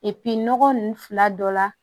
nɔgɔ nunnu fila dɔ la